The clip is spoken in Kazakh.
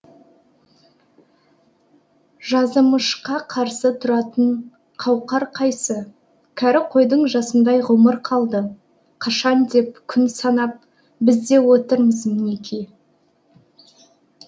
жазымышқа қарсы тұратын қауқар қайсы кәрі қойдың жасындай ғұмыр қалды қашан деп күн санап біз де отырмыз мінеки